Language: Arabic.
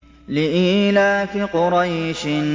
لِإِيلَافِ قُرَيْشٍ